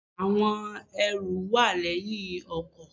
Àwọn ẹrù wà léyìn ọkò